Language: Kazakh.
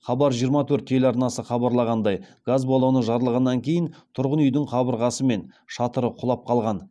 хабар жиырма төрт телеарнасы хабарлағандай газ баллоны жарылғаннан кейін тұрғын үйдің қабырғасы мен шатыры құлап қалған